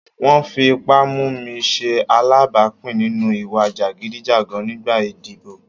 Wọ́n fi ipá mú mi ṣe alábàápín nínú ìwà jàgídíjàgan nígbà ìdìbò.